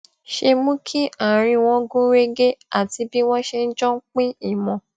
ṣe mú kí àárín wọn gún régé àti bí wọn ṣe jọ ń pín ìmọ